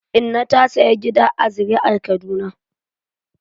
Inna ta sayi gidan ƙasa a Zariar Kaduna..